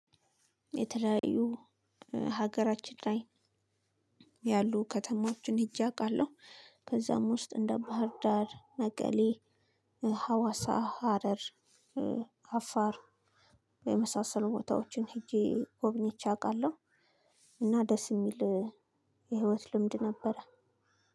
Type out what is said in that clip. የተለያዩ ሀገራችን ላይ ያሉ ከተማዎችን ሂጄ አቃለሁ ከዛም ውስጥ እንደ ባህር ዳር፣ መቀሌ፣ ሀዋሳ፣ ሀረር፣ አፋር የመሳሰሉ ቦታዎችን ሄጄ ጎብኝቼ አውቃለሁ። እና ደስ የሚል የህይወት ልምድ ነበረ።